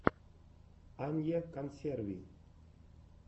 анья консерви